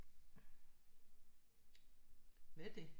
Hvad er det